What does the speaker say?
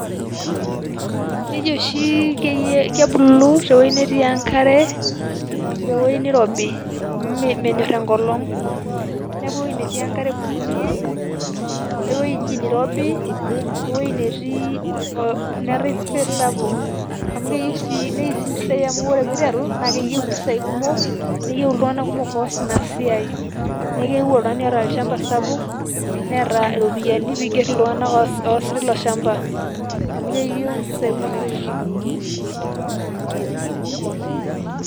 Keji oshi kebulu tewueji netii enkare,o tewoi nirobi, menyor enkolong'. Neeku ewei netii enkare ebulunye, ewueji nirobi, ewei netii neetai space sapuk, amu keyieu si neu si mpisai amu ore piteru, neyieu impisai kumok, neyieu iltung'anak kumok oas inasiai. Neeku keyieu oltung'ani oota olchamba sapuk, neeta iropiyiani piger iltung'anak oes tilo shamba. Amu keyieu impisai kumok naiterunyeki.